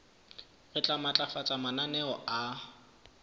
re tla matlafatsa mananeo a